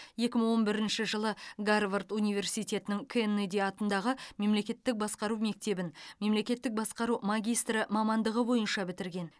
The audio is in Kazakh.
екі мың он бірінші жылы гарвард университетінің кеннеди атындағы мемлекеттік басқару мектебін мемлекеттік басқару магистрі мамандығы бойынша бітірген